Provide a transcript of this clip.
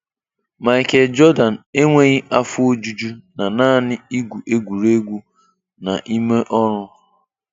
Michael Jordan enweghị afọ ojuju na naanị igwu egwuregwu na ime ọrụ.